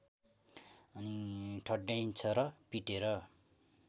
ढड्याइन्छ र पिटेर